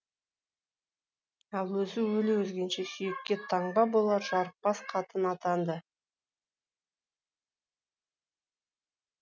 ал өзі өле өлгенше сүйекке таңба болар жарықбас қатын атанды